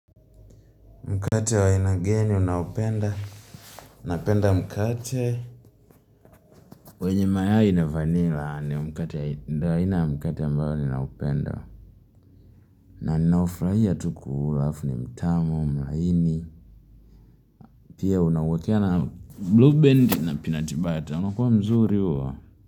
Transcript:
Mkate wa aina gani unaopenda. Napenda mkate. Wenye mayai na vanilla. Ndio aina ya mkate ambao ninaupenda. Na ninaufurahia tu kuula alafu ni mtamu, mlaini. Pia unawakea na blue band na peanut butter. Unakuwa mzuri huo.